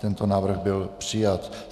Tento návrh byl přijat.